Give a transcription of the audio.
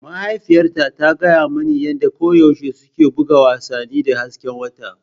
Mahaifiyata ta gaya mani yadda koyaushe suke buga wasannin da hasken wata.